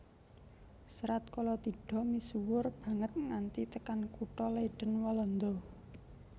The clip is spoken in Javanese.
Serat Kalatidha misuwur banget nganti tekan kutha Leiden Walanda